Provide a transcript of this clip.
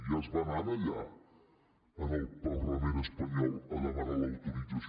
ja es va anar allà al parlament espanyol a demanar l’autorització